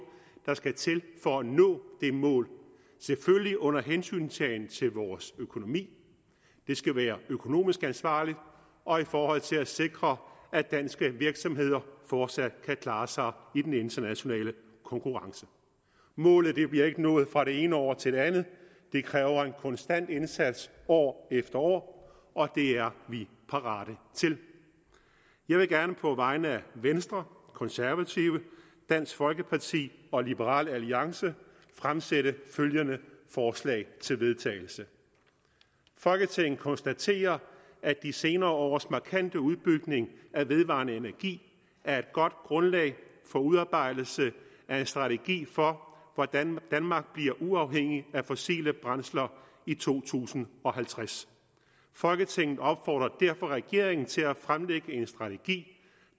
der skal til for at nå det mål selvfølgelig under hensyntagen til vores økonomi det skal være økonomisk ansvarligt og i forhold til at sikre at danske virksomheder fortsat kan klare sig i den internationale konkurrence målet bliver ikke nået fra det ene år til det andet det kræver en konstant indsats år efter år og det er vi parate til jeg vil gerne på vegne af venstre konservative dansk folkeparti og liberal alliance fremsætte følgende forslag til vedtagelse folketinget konstaterer at de senere års markante udbygning af vedvarende energi er et godt grundlag for udarbejdelse af en strategi for hvordan danmark bliver uafhængig af fossile brændsler i to tusind og halvtreds folketinget opfordrer derfor regeringen til at fremlægge en strategi